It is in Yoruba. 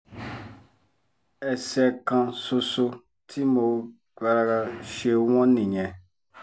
ẹsẹ kan ṣoṣo tí mo ṣe wọ́n nìyẹn